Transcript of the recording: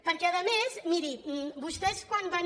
perquè a més miri vostès quan van